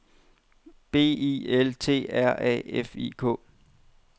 B I L T R A F I K